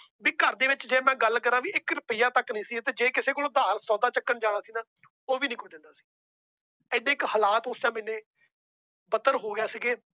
ਵੀ ਘਰ ਦੇ ਵਿਚ ਜੇ ਮੈ ਗੱਲ ਕਰਾ ਤਾਂ ਇਕ ਰੁਪਿਆ ਤੱਕ ਨਹੀਂ ਸੀ। ਜੇ ਕਿਸੇ ਕੋਲ ਉਧਾਰ ਸੌਦਾ ਚੱਕਣ ਜਾਣਾ ਸੀ ਗਾ ਉਹ ਵੀ ਨਹੀਂ ਕੋਈ ਦਿੰਦਾ ਸੀ। ਏਡਾ ਕੁ ਹਾਲਤ ਉਸ Time ਬਦਤਰ ਹੋ ਗਏ ਸੀ।